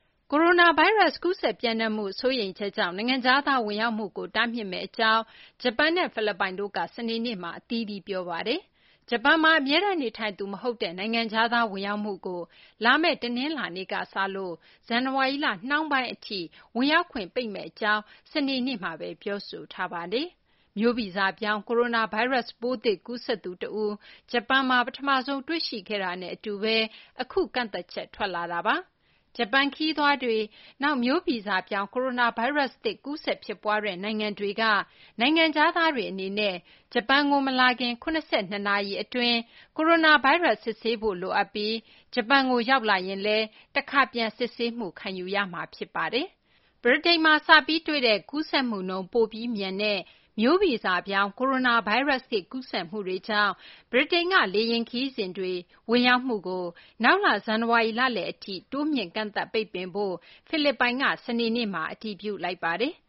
ကိုရိုနာဗိုင်းရပ်စ် ကူးစက်ပျံ့နှံ့မှု စိုးရိမ်ချက်ကြောင့် နိုင်ငံခြားသား ဝင်ရောက်မှုကို တားမြစ်မယ့်အကြောင်း ဂျပန်နဲ့ ဖိလစ်ပိုင်တို့က စနေနေ့မှာ အသီးသီး ပြောဆိုထားပါတယ်။ ဂျပန်မှာ အမြဲတမ်းနေထိုင်သူ မဟုတ်တဲ့ နိုင်ငံခြားသား ဝင်ရောက်မှုကို လာမယ့် တနင်္လာနေ့ကစလို့ ဇန်နဝါရီလ နှောင်းပိုင်းထိ နိုင်ငံတွင်းဝင်ရောက်ခွင့် ပိတ်ပင်မယ့်အကြောင်း စနေနေ့မှာပဲ အစိုးရက ပြောဆိုထားပါတယ်။ မျိုးဗီဇပြောင်း ကိုရိုနာဗိုင်းရပ်စ်ပိုးသစ် ကူးစက်သူတဦး ဂျပန်နိုင်ငံမှာ ပထမဆုံး တွေ့ရှိခဲ့တာနဲ့အတူပဲ အခုကန့်သတ်ချက် ထွက်လာတာပါ။ ဂျပန်ခရီးသွားတွေ၊ နောက် မျိုးဗီဇပြောင်း ကိုရိုနာဗိုင်းရပ်စ်သစ် ကူးစက်ဖြစ်ပွားတဲ့ နိုင်ငံတွေက နိုင်ငံခြားသားတွေအနေနဲ့ ဂျပန်ကိုမလာခင် ၇၂ နာရီအတွင်း ကိုရိုနာဗိုင်းရပ်စ် စစ်ဆေးဖို့ လိုအပ်ပြီး ဂျပန်ကို ရောက်လာရင်လည်း တခါပြန်လည်စစ်ဆေးမှု ခံယူရမှာ ဖြစ်ပါတယ်။ ဗြိတိန်မှာ စပြီးတွေ့တဲ့ ကူးစက်မှုနှုန်း ပိုပြီးမြန်တဲ့ မျိုးဗီဇပြောင်း ကိုရိုနာဗိုင်းရပ်စ်သစ် ကူးစက်မှုတွေကြောင့် ဗြိတိန်က လေယာဉ်ခရီးစဉ်တွေ ဖိလစ်ပိုင် ဝင်ရောက်မှုကို နောက်လ ဇန်နဝါရီလလယ်အထိ တိုးမြှင့်ကန့်သတ်ပိတ်ပင်ဖို့ စနေနေ့က အတည်ပြုလိုက်ပါတယ်။